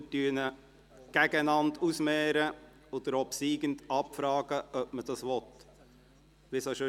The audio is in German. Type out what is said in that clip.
Wir werden diese einander gegenüberstellen und beim obsiegenden Antrag abfragen, ob man diesen will – so, wie wir es auch sonst machen.